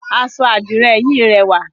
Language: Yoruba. Aṣọ Àdirẹ yìí rẹwà.